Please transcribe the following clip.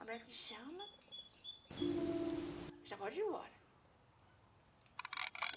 A médica me chama, já pode ir embora.